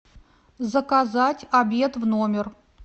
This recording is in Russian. заказать обед в номер